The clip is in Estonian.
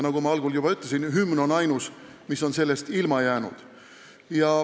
Nagu ma juba algul ütlesin, on hümn ainus, mis on sellest ilma jäänud.